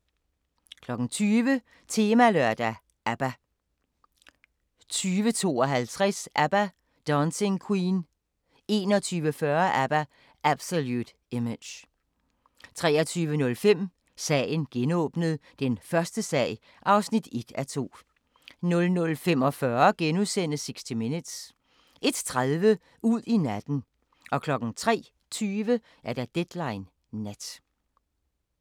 20:00: Temalørdag: ABBA 20:52: ABBA – Dancing Queen 21:40: ABBA – Absolute Image 23:05: Sagen genåbnet: Den første sag (1:2) 00:45: 60 Minutes * 01:30: Ud i natten 03:20: Deadline Nat